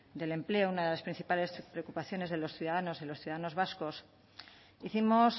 del empleo una de las principales preocupaciones de los ciudadanos de los ciudadanos vascos hicimos